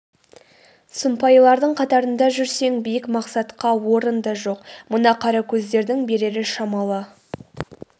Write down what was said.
сұмпайылардың қатарында жүрсең биік мақсатқа орын да жоқ мына қаракөздердің берері шамалы